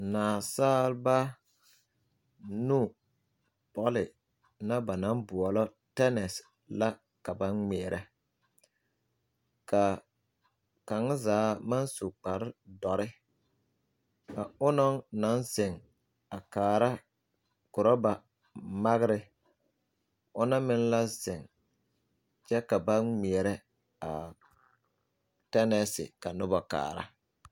Naasaaba nu bɔle na ba naŋ boɔlɔ tɛnɛs la ka ba ŋmeɛrɛ ka kaŋ zaa maŋ su kpare dɔre a onɔŋ naŋ ziŋ a kaara korɔba magre ona meŋ la ziŋ kyɛ ka ba ŋmeɛrɛ a tɛnɛse ka noba kaara.